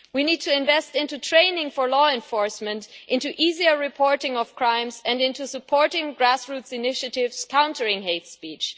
We need to invest in training for law enforcement, in easier reporting of crimes and in supporting grassroots initiatives countering hate speech.